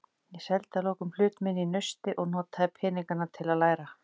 Ég seldi að lokum hlut minn í Nausti og notaði peningana til að læra.